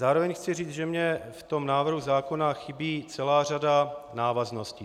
Zároveň chci říct, že mě v tom návrhu zákona chybí celá řada návazností.